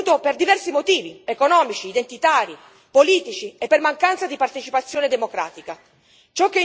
Questo è avvenuto per diversi motivi economici, identitari, politici e per mancanza di partecipazione democratica.